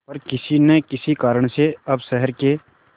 पर किसी न किसी कारण से अब शहर के